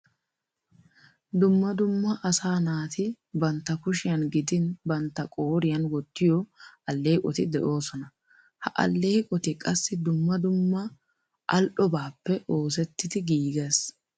Dumma dumma asaa naati bantta kushiyan gidin bantta qooriyan wottiyo alleeqoti de'oosona. Ha alleeqoti qassi dumma dumma al"obaappe iosettidi giigees.